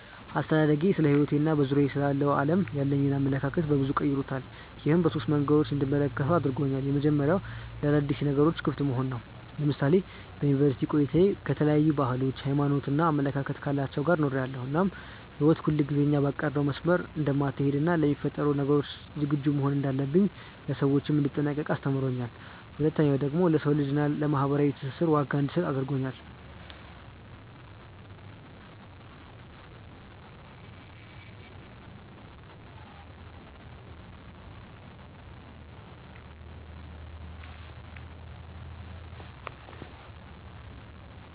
አስተዳደጌ ስለሕይወቴ እና በዙሪያዬ ስላለው ዓለም ያለኝን አመለካከት በበዙ ቀይሮታል። ይህም በሶስት መንገዶች እንድመለከተው አድርጎኛል። የመጀመሪያው ለአዳዲስ ነገሮች ክፍት መሆንን ነው። ለምሳሌ በዩኒቨርስቲ ቆይታዬ ከተለያዩ ባህሎች፣ ሃይማኖት እና አመለካከት ካላቸው ጋር ኖሬያለው እናም ህይወት ሁልጊዜ እኛ ባቀድነው መስመር እንደማትሀለድ እና ለሚፈጠሩ ነገሮች ዝግጁ መሆን እንዳለብኝ፣ ለሰዎች እንድጠነቀቅ አስተምሮኛል። ሁለተኛው ደግሞ ለሰው ልጅ እና ለማህበራዊ ትስስር ዋጋ እንድሰጥ አድርጎኛል።